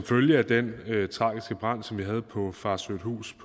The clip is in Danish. følge af den tragiske brand som vi havde på farsøhthus